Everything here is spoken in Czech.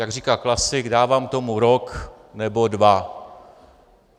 Jak říká klasik: dávám tomu rok nebo dva.